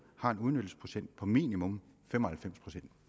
har en udnyttelsesprocent på minimum 95